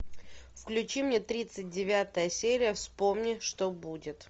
включи мне тридцать девятая серия вспомни что будет